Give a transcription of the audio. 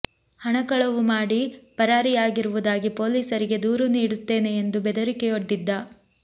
ಹಣ ಕಳವು ಮಾಡಿ ಪರಾರಿಯಾಗಿರುವುದಾಗಿ ಪೊಲೀಸರಿಗೆ ದೂರು ನೀಡುತ್ತೇನೆ ಎಂದು ಬೆದರಿಕೆಯೊಡ್ಡಿದ್ದ